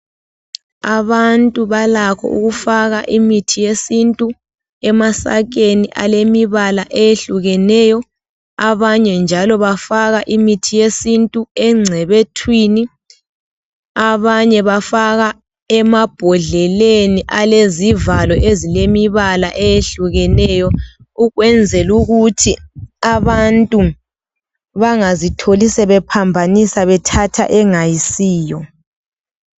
Abantu balakho ukufaka imithi yesintu emasakeni alemibala eyehlukeneyo. Abanye njalo bafaka imithi yesintu engcebethwini. Abanye bafaka emabhodleleni alezivalo ezilemibala eyehlukeneyo ukwenzela ukuthi abantu bangazitholi sebephambanisa bethatha engayisiyo.